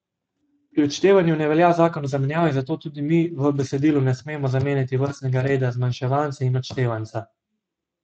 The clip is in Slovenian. Pri odštevanju ne velja zakon o zamenjavi, zato tudi mi v besedilu ne smemo zamenjati vrstnega reda zmanjševanca in odštevanca.